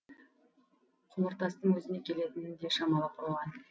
құмыртастың өзіне келетінін де шамалап қойған